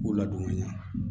K'u ladon ka ɲɛ